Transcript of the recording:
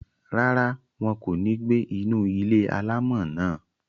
Rárá, wọn kò ní gbé inú ilé-alámọ̀ náà